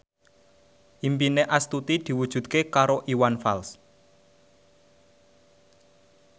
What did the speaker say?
impine Astuti diwujudke karo Iwan Fals